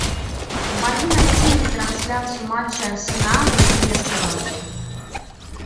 помоги найти мне трансляцию матча арсенала с лестером